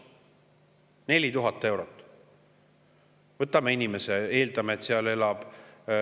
4000 eurot!